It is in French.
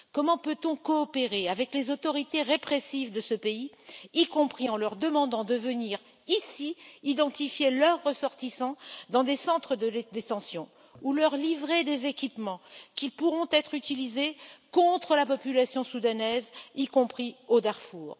Comment peut on coopérer avec les autorités répressives de ce pays, y compris en leur demandant de venir ici identifier leurs ressortissants dans des centres de rétention, ou leur livrer des équipements qui pourront être utilisés contre la population soudanaise, y compris au Darfour.